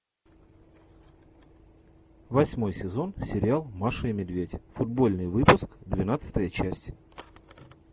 восьмой сезон сериал маша и медведь футбольный выпуск двенадцатая часть